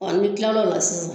ni n kila la o la sisan